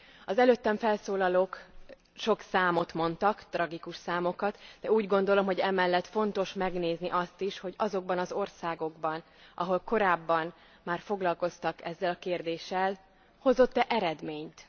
Az előttem felszólalók sok számot mondtak, tragikus számokat, de úgy gondolom, hogy emellett fontos megnézni azt is, hogy azokban az országokban, ahol korábban már foglalkoztak ezzel a kérdéssel, hozott e eredményt.